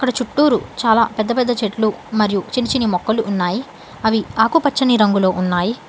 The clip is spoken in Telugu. చుట్టూరు చాలా పెద్ద పెద్ద చెట్లు మరియు చిన్ని చిన్ని మొక్కలు ఉన్నాయి అవి ఆకుపచ్చని రంగులో ఉన్నాయి.